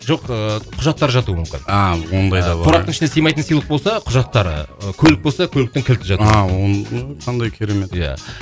жоқ ыыы құжаттар жатуы мүмкін ааа ондай да қораптың ішіне сыймайтын сыйлық болса құжаттар ыыы көлік болса көліктің кілті жатуы мүмкін а қандай керемет иә